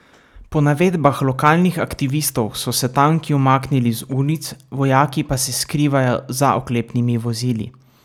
Po navedbah lokalnih aktivistov so se tanki umaknili z ulic, vojaki pa se skrivajo za oklepnimi vozili.